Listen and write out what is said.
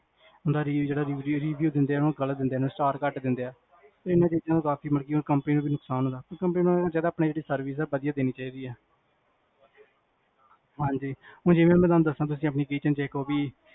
review ਜੇਹੜਾ review ਦਿੰਦੇ ਆ ਨਾ star ਘਟ ਦਿੰਦੇ ਆ ਇੰਨਾ ਚੀਜਾਂ ਨਾਲ ਕਾਫੀ ਕੰਪਨੀ ਨੂੰ ਵੀ ਨੁਕਸਾਨ ਹੁੰਦਾ ਆ ਆਪਣੀ ਜੇਹੜੀ service ਆ ਨਾ ਬਦੀਆ ਦੇਣੀ ਚਾਹੀਦੀ ਹੈ ਹਾਂਜੀ ਜੇ ਮੈਂ ਤੁਹਾਨੂੰ ਦਸਾਂ